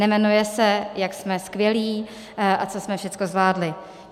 Nejmenuje se jak jsme skvělí a co jsme všechno zvládli.